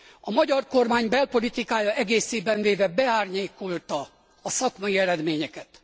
A magyar kormány belpolitikája egészében véve beárnyékolta a szakmai eredményeket.